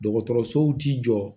Dɔgɔtɔrɔsow ti jɔ